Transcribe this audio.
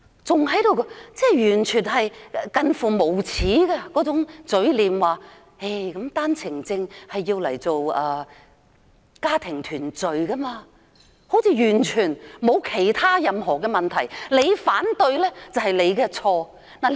政府以近乎無耻的嘴臉，說單程證用作家庭團聚，完全沒有問題，我們反對的話便是錯誤。